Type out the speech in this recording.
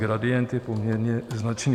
Gradient je poměrně značný.